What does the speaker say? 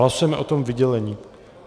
Hlasujeme o tom vydělení.